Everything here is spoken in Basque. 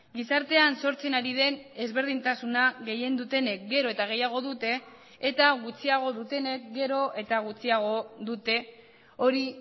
gizartean sortzen ari den ezberdintasuna gehien dutenek gero eta gehiago dute eta gutxiago dutenek gero eta gutxiago dute hori